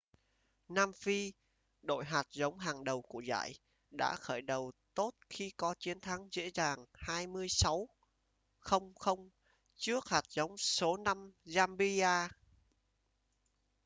nam phi đội hạt giống hàng đầu của giải đã khởi đầu tốt khi có chiến thắng dễ dàng 26 - 00 trước hạt giống số 5 zambia